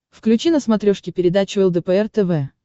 включи на смотрешке передачу лдпр тв